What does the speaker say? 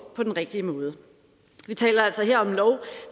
på den rigtige måde vi taler altså her om en lov